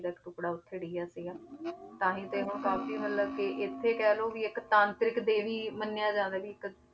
ਜਦ ਟੁੱਕੜਾ ਉੱਥੇ ਡਿਗਿਆ ਸੀਗਾ ਤਾਂ ਹੀ ਤੇ ਹੁਣ ਕਾਫ਼ੀ ਮਤਲਬ ਕਿ ਇੱਥੇ ਕਹਿ ਲਓ ਵੀ ਇੱਕ ਤਾਂਤਰਿਕ ਦੇਵੀ ਮੰਨਿਆ ਜਾਂਦਾ ਵੀ ਇੱਕ